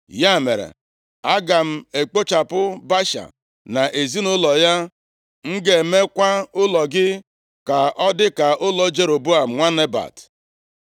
Ya mere, aga m ekpochapụ Baasha na ezinaụlọ ya, m ga-emekwa ụlọ gị ka ọ dịka ụlọ Jeroboam, nwa Nebat.